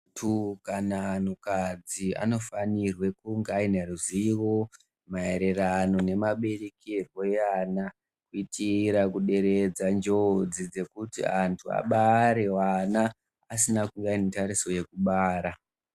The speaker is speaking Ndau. Antu kana kuti anhu kadzi anofanirwe kunge aine ruzivo maererano ne maberekerwe e ana kuitira ku deredza njodzi dzekuti antu abare vana asina kuva netariso yekubara.